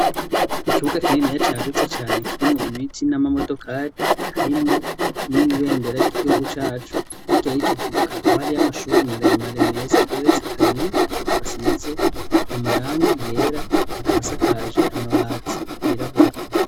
Ikibuga kininiya cagutse cane kirimwo ibiti n'amamodokari, harimwo n'ibendera ry'igihugu cacu. Hirya y'ico kibuga hakaba hariyo amashure maremare meza ageretse kabiri, asize amarangi yera, akaba asakaje amabati yirabura.